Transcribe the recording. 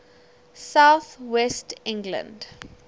south west england